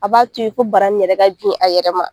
A b'a to yen ko bara in yɛrɛ ka bin a yɛrɛ ma.